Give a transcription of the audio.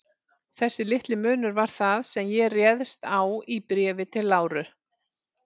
Þessi litli munur var það, sem ég réðst á í Bréfi til Láru.